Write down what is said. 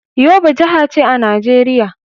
Yobe jiha ce a Najeriya.